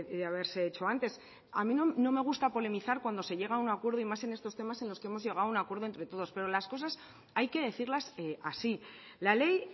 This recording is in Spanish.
de haberse hecho antes a mí no me gusta polemizar cuando se llega a un acuerdo y más en estos temas en los que hemos llegado a un acuerdo entre todos pero las cosas hay que decirlas así la ley